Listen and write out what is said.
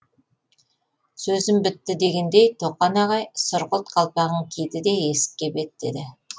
сөзім бітті дегендей тоқан ағай сұрғылт қалпағын киді де есікке беттеді